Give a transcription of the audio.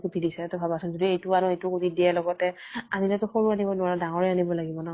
কুটি দিছে । সেইতো ভাবাচোন । যদি এইতো আনো, এইতোও কুটি দিয়ে । লগতে আনিলে তো সৰু আনিব নোৱাৰো, ডাঙৰে আনিব লাগিব ন ?